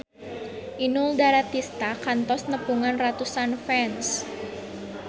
Inul Daratista kantos nepungan ratusan fans